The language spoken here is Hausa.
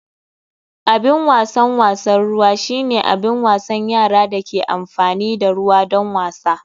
Abin wasan wasan ruwa shine abin wasan yara da ke amfani da ruwa don wasa.